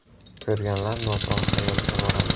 Ko‘rganlar noto‘g‘ri xayolga boradi.